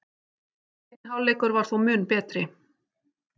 Seinni hálfleikur var þó mun betri